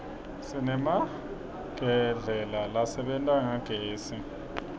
sinemagedlela lasebenta ngagezi